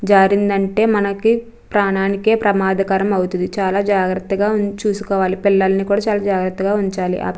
జారిందంటే మనకి ప్రాణానికే ప్రమాదకరమవుతది చాలా జాగ్రత్తగా ఉం చూసుకోవాలి పిల్లల్ని కూడా చాలా జాగ్రత్తగా ఉంచాలి అప్ --